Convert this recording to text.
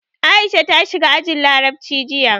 Aisha ta shiga ajin Larabci jiya.